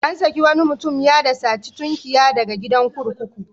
An saki wani mutum ya da saci tunkiya daga gidan kurkuku.